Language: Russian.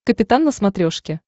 капитан на смотрешке